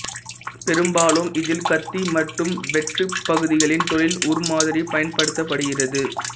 பெரும்பாலும் இதில் கத்தி மற்றும் வெட்டுப்பகுதிகளின் தொழில் உருமாதிரி பயன்படுத்தப்படுகிறது